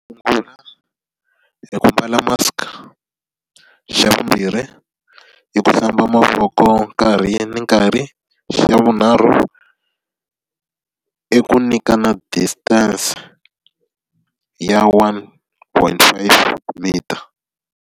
Xo sungula i ku mbala mask. Xa vumbirhi i ku hlamba mavoko nkarhi ni nkarhi. Xa vunharhu, i ku nyikana distance ya one point five meter.